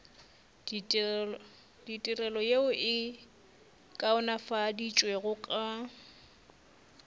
ditirelo yeo e kaonafaditšwego ka